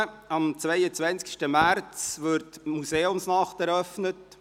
Am 22. März 2019 wird die Museumsnacht eröffnet.